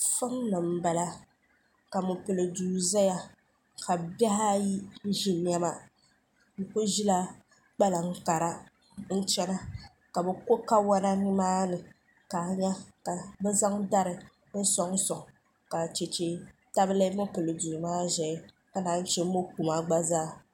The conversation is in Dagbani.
solini n bala ka mopɛlido zaya ka bihiaayi ʒɛ nɛma be kuli ʒɛla kpankara n chɛna ka bɛ ko kawanani maani ka ŋahira ka be zaŋ dari n suŋsuŋ ka chɛchɛ tabili mopɛli domaaka be zanzaya di mokuma gbazaa